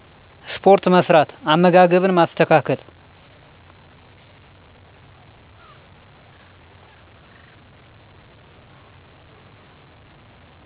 ስፖርት መስራት፣ አመጋገብን ማስተካከል